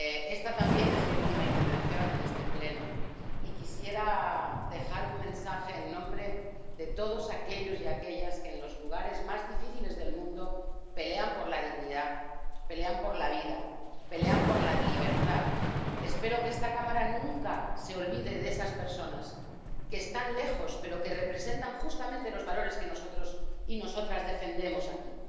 Esta también es mi última intervención en este Pleno y quisiera dejar un mensaje en nombre de todos aquellos y aquellas que en los lugares más difíciles del mundo pelean por la dignidad, pelean por la vida, pelean por la libertad. Espero que esta Cámara nunca se olvide de esas personas que están lejos, pero que representan justamente los valores que nosotros y nosotras defendemos aquí.